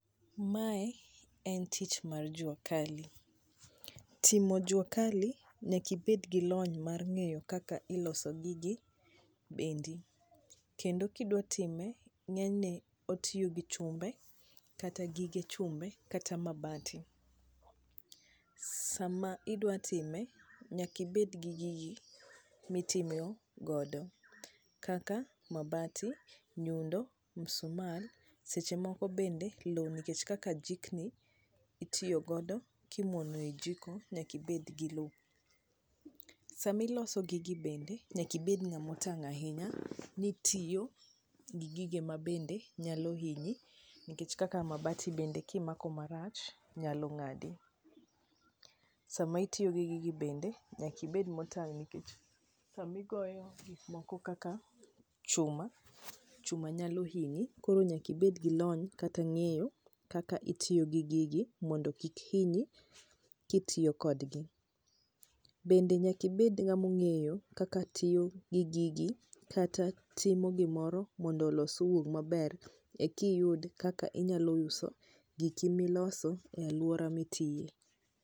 Mae en tich mar juakali. Timo juakali, nyaka ibed gi lony mar ng'eyo kaka iloso gigi bendi, kendo ka idwa time ng'enyne otiyo gi chumbe kata gige chumbe kata mabati. Sama idwa time nyaka ibed gi gigi matimeo godo, kaka mabati, nyundo, msumal seche moko bende lo nikech kaka jikni, itiyo godo kimuono i jiko nyaka ibed gi lo. Sama iloso gigi bende, nyaka ibed ng'ama otang' ahinya ni itiyo gi gige ma bende nyalo hinyi nikech kaka mabati bende kimako marach, nyalo ng'adi. Sama itiyo gi gigi bende nyaka ibed motang' nikech sama igoyo gik moko kaka chuma, chuma nyalo hinyi, koro nyaka ibed gi lony kata ng'eyo kaka itiyo gi gigi mondo kik hinyi kitiyo kodgi. Bende nyaka ibed ng'ama ong'eyo kaka tiyo gi gigi kata ka timo gimoro mondo olos owuog maber, ikiyud kaka inyalo uso giki miloso e alwora mitie.